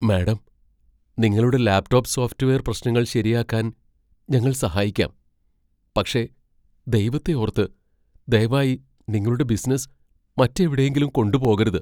Madam, നിങ്ങളുടെ laptop software പ്രശ്നങ്ങൾ ശരിയാക്കാൻ ഞങ്ങൾ സഹായിക്കാം , പക്ഷേ ദൈവത്തെ ഓർത്ത് , ദയവായി നിങ്ങളുടെ ബിസിനസ്സ് മറ്റെവിടെയെങ്കിലും കൊണ്ടുപോകരുത്.